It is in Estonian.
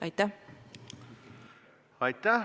Aitäh!